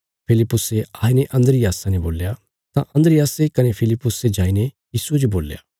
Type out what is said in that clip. फिलिप्पुसे आईने अन्द्रियासा ने बोल्या तां अन्द्रियासे कने फिलिप्पुसे जाईने यीशुये जो बोल्या